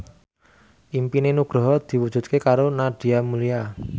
impine Nugroho diwujudke karo Nadia Mulya